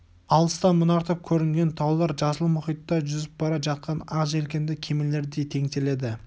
алыстан мұнартып көрінген таулар жасыл мұхитта жүзіп бара жатқан ақ желкенді кемелердей теңселеді